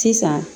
Sisan